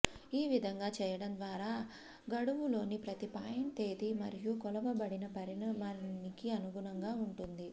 ఈ విధంగా చేయడం ద్వారా గడువులోని ప్రతి పాయింట్ తేదీ మరియు కొలవబడిన పరిమాణానికి అనుగుణంగా ఉంటుంది